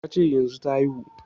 Ya ce yanzun ta haihu